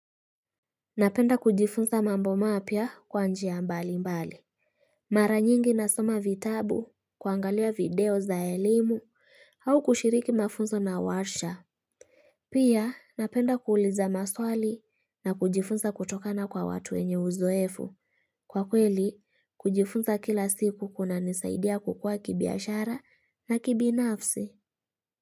Napenda kujifunza mambo mapya kwa njia mbali mbali Mara nyingi nasoma vitabu kuangalia video za elimu au kushiriki mafunzo na warsha Pia napenda kuuliza maswali na kujifunza kutokana kwa watu wenye uzoefu Kwa kweli kujifunza kila siku kuna nisaidia kukua kibiashara na kibinafsi.